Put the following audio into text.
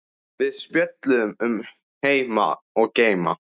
Við spjölluðum um heima og geima.